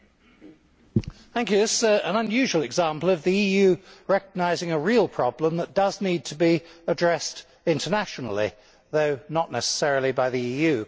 Mr President, this is an unusual example of the EU recognising a real problem which does need to be addressed internationally, though not necessarily by the EU.